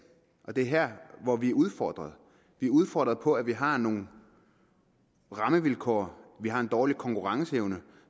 og det er her hvor vi er udfordret vi er udfordret på at vi har nogle rammevilkår vi har en dårlig konkurrenceevne